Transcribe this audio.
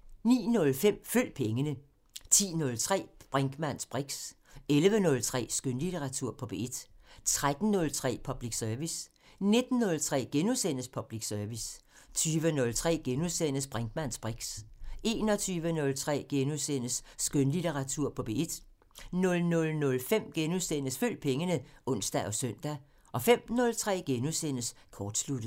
09:05: Følg pengene 10:03: Brinkmanns briks 11:03: Skønlitteratur på P1 13:03: Public Service 19:03: Public Service * 20:03: Brinkmanns briks * 21:03: Skønlitteratur på P1 * 00:05: Følg pengene *(ons og søn) 05:03: Kortsluttet *